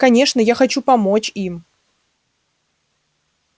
конечно я хочу помочь им